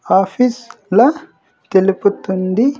Office ల తెలుపుతుంది.